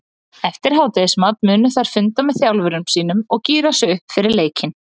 Eftir hádegismat munu þær funda með þjálfurum sínum og gíra sig upp fyrir leikinn.